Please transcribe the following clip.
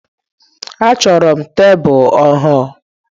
Achọrọ m tebụl ọhụrụ.